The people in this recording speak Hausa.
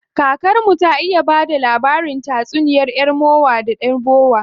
Kakar mu ta iya bada labarin tatsuniya yar mowa da yar bowa.